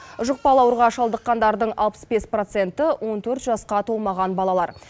жұқпалы ауруға шалдыққандардың алпыс бес проценті он төрт жасқа толмаған балалар